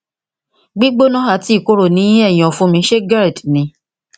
gbígbóná ati ìkorò ní ẹyìn ọfun mi ṣé gerd ni